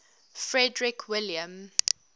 frederick william